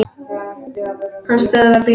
Hann stöðvar bílinn.